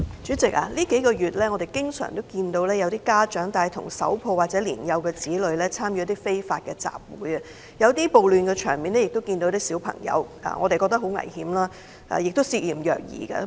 主席，數個月來，我們經常看到有家長帶同手抱或年幼子女參與非法集會，在某些暴亂場面中亦看到有小孩子出現，實在非常危險，亦涉嫌虐兒。